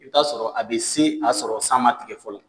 I b'i taa sɔrɔ a be se a y'a sɔrɔ san ma tigɛ fɔlɔ